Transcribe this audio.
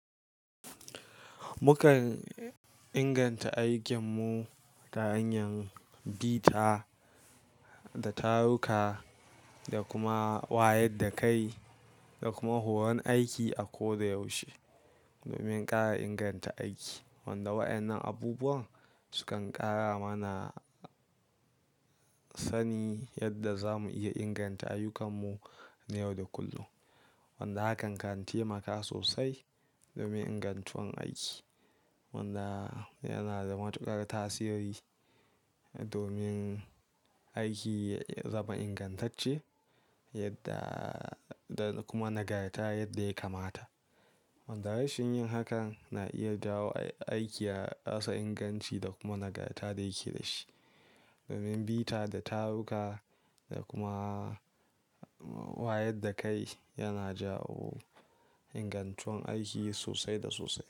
Mukan inganta aikinmu ta hanya bita da taruka da kuma wayar da kai da kuma horon aiki a koda yaushe domin ƙara inganta aiki. Wanda waɗannan abubuwan sukan ƙara mana sani yadda zamu iya inganta ayyukanmu na yau da kullum. Wanda hakan kan taimaka sosai domin ingantuwan aiki. Wanda yana da matuƙar tasiri domin aiki ya zama ingantacce yadda da kuma nagarta yadda ya kamata. Wanda rashin yin hakan na iya jawo aiki ya rasa inganci da kuma nagarta da yake da shi. Domin bita da taruka da kuma wayar da kai yana jawo ingantowan aiki sosai da sosai.